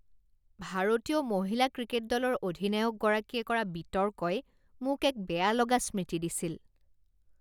ভাৰতীয় মহিলা ক্ৰিকেট দলৰ অধিনায়কগৰাকীয়ে কৰা বিতৰ্কই মোক এক বেয়া লগা স্মৃতি দিছিল।